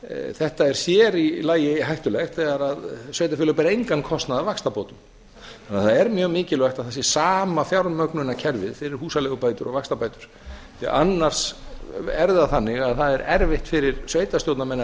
þetta er sér í lagi hættulegt þegar sveitarfélög bera engan kostnað af vaxtabótum þannig að það er mjög mikilvægt að það sé sama fjármögnunarkerfið fyrir húsaleigubætur og vaxtabætur því að annars er það þannig að það er erfitt fyrir sveitarstjórnarmenn að